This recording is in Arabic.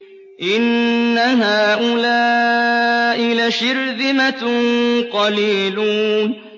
إِنَّ هَٰؤُلَاءِ لَشِرْذِمَةٌ قَلِيلُونَ